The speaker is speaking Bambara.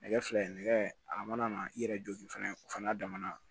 Nɛgɛ fila in nɛgɛ a mana na i yɛrɛ jɔ fana o fana damana